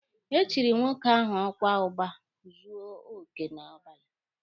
E chiri nwoke ahụ ọkwa Ụba Zuo Oke n'abalị.